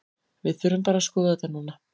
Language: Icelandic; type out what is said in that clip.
Við þurfum bara að skoða þetta núna.